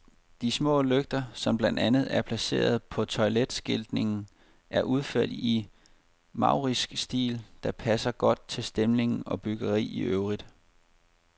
De små lygter, som blandt andet er placeret på toiletskiltningen, er udført i en maurisk stil, der passer godt til stemning og byggeri i øvrigt.